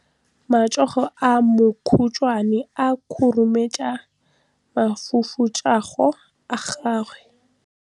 Matsogo a makhutshwane a khurumetsa masufutsogo a gago.